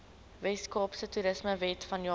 weskaapse toerismewet vanjaar